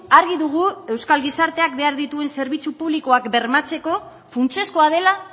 argi dugu euskal gizarteak behar dituen zerbitzu publikoak bermatzeko funtsezkoa dela